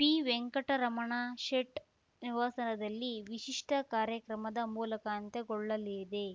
ಪಿವೆಂಕಟರಮಣಶೇಟ್‌ ನಿವಾಸದಲ್ಲಿ ವಿಶಿಷ್ಟಕಾರ್ಯಕ್ರಮದ ಮೂಲಕ ಅಂತ್ಯಗೊಳ್ಳಲಿದೆ